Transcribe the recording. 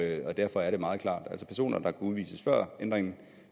derfor er det meget klart altså personer der kunne udvises før ændringen